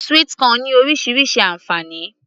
sweet corn ní orísirísi ànfàní